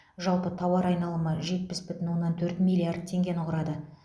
жалпы тауар айналымы жетпіс бүтін оннан төрт миллиард теңгені құрады